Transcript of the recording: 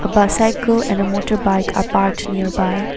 A bicycle and a motor bike are parked nearby.